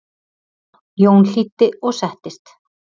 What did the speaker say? Jón hlýddi og settist.